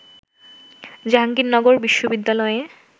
জাহাঙ্গীরনগর বিশ্ববিদ্যালয়ে